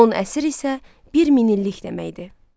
10 əsr isə 1 min illik deməkdir.